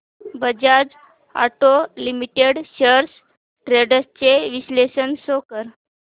Bajaj auto limited shares trends चे विश्लेषण show कर